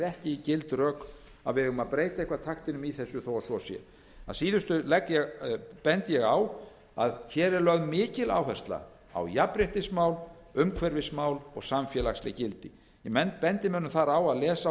ekki gild rök að við eigum að breyta eitthvað taktinum í þessu þó að svo sé að síðustu bendi ég á að hér er lögð mikil áhersla á jafnréttismál umhverfismál og samfélagsleg gildi ég bendi mönnum þar á að lesa á